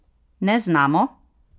Ne znamo!